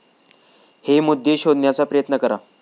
हे मुद्दे शोधण्याचा प्रयत्न करा